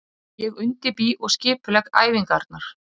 Ég undirbý og skipulegg æfingarnar.